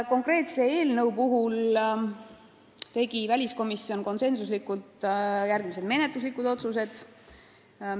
Konkreetse eelnõu arutelul langetas väliskomisjon konsensusega järgmised menetluslikud otsused.